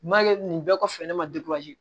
Ma kɛ nin bɛɛ kɔfɛ ne ma